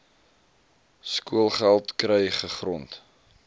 skoolgeld kry gegrond